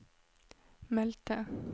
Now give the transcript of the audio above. meldte